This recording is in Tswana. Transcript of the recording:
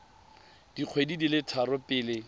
dikgwedi di le tharo pele